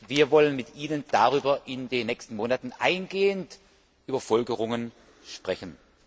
Wir wollen mit Ihnen in den nächsten Monaten eingehend über Folgerungen sprechen.